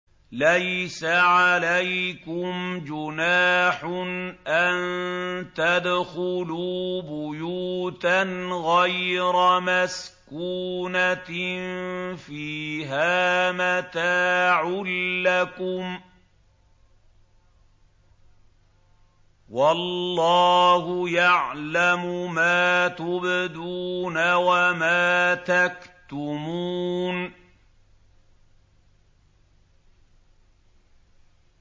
لَّيْسَ عَلَيْكُمْ جُنَاحٌ أَن تَدْخُلُوا بُيُوتًا غَيْرَ مَسْكُونَةٍ فِيهَا مَتَاعٌ لَّكُمْ ۚ وَاللَّهُ يَعْلَمُ مَا تُبْدُونَ وَمَا تَكْتُمُونَ